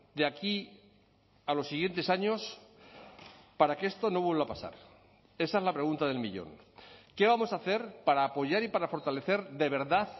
de aquí a los siguientes años para que esto no vuelva a pasar esa es la pregunta del millón qué vamos a hacer para apoyar y para fortalecer de verdad